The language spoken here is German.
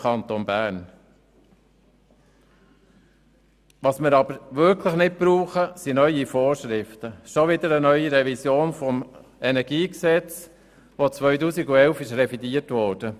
Was wir aber wirklich nicht brauchen, sind neue Vorschriften und schon wieder eine neue Revision des KEnG, welches im Jahr 2011 revidiert wurde.